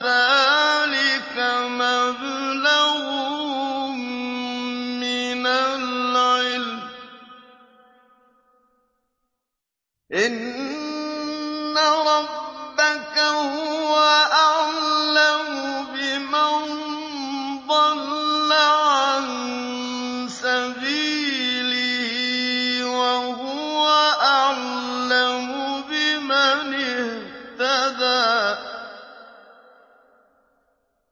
ذَٰلِكَ مَبْلَغُهُم مِّنَ الْعِلْمِ ۚ إِنَّ رَبَّكَ هُوَ أَعْلَمُ بِمَن ضَلَّ عَن سَبِيلِهِ وَهُوَ أَعْلَمُ بِمَنِ اهْتَدَىٰ